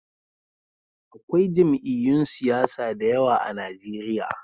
Akwai jam'iyyun siyasa da yawa a Najeriya.